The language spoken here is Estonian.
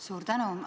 Suur tänu!